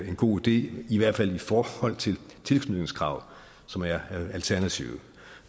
en god idé i hvert fald i forhold til tilknytningskravet som er alternativet